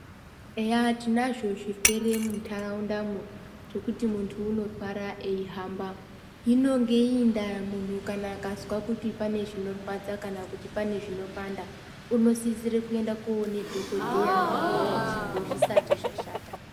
Eya tinazvo zvirwere muntaraundamo pekuti muntu unorwara eihamba, inenge iri ndaa kana muntu akanzwa kuti pane zvinorwadza kana kuti pane zvinopanda unosise kunoona dhokodheya mukuwo uchipo zvisati zvashata.